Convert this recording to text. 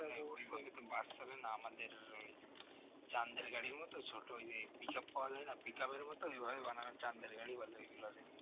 বাস চলে না আমাদের ওই চাঁদের গাড়ির মতো ছোট ওই যে pick up পাওয়া যায় না pick up এর মত এগুলোকে চান্দের গাড়ি বলে ওইগুলোকে